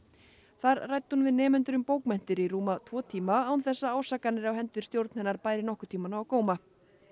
þar ræddi hún við nemendur um bókmenntir í rúma tvo tíma án þess að ásakanir á hendur stjórn hennar bæri nokkurn tímann á góma